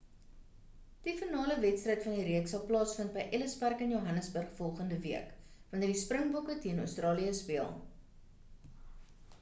die finale wedstryd van die reeks sal plaasvind by ellis park in johannesburg volgende week wanneer die springbokke teen australië speel